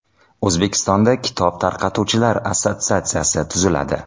O‘zbekistonda kitob tarqatuvchilar assotsiatsiyasi tuziladi.